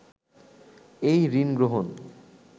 এই ঋণগ্রহণ